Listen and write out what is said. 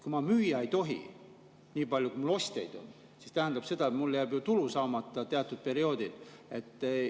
Kui ma ei tohi müüa nii palju, kui mul ostjaid on, siis see tähendab, et mul jääb ju teatud perioodil tulu saamata.